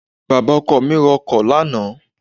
baba oko mi ro ọkọ lana